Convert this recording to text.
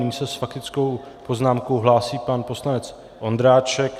Nyní se s faktickou poznámkou hlásí pan poslanec Ondráček.